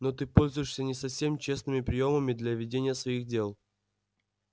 но ты пользуешься не совсем честными приёмами для ведения своих дел